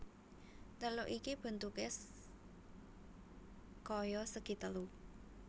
Teluk iki bentuké kaya segi telu